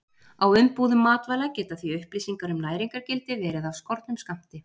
Á umbúðum matvæla geta því upplýsingar um næringargildi verið af skornum skammti.